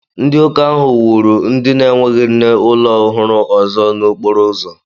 Ndị uka ahụ wuru ndi n'enweghị nne ulo ọhụrụ ọzọ n'okporo ụzọ